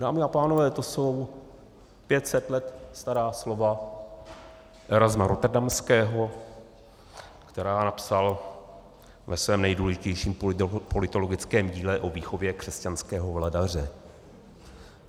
Dámy a pánové, to jsou 500 let stará slova Erasma Rotterdamského, která napsal ve svém nejdůležitějším politologickém díle O výchově křesťanského vladaře.